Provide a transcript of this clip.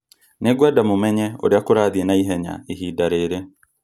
Nĩngwenda mũmenye ũrĩa kũrathiĩ na ihenya ihinda rĩrĩ.